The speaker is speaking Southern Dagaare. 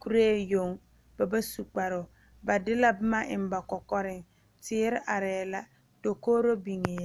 kuree yoŋ ba ba su kparoo ba de la boma eŋ ba kɔkɔreŋ, teere aree la, dakori biŋɛ la.